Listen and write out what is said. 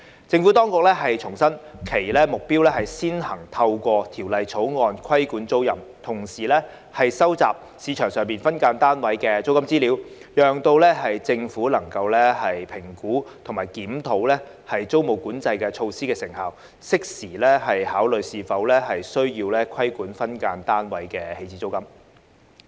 政府當局重申其目標是先行透過《條例草案》規管租賃，同時收集市場上分間單位租金資料，讓政府能夠評估及檢討租務管制措施的成效，適時考慮是否需要規管分間單位的起始租金。